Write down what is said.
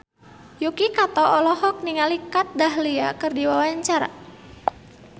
Yuki Kato olohok ningali Kat Dahlia keur diwawancara